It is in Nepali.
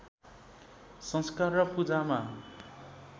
संस्कार र पूजामा